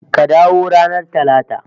Ka dawo ranar Talata